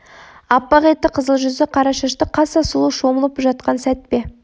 аппақ етті қызыл жүзді қара шашты қаса сұлу шомылып жатқан сәт пе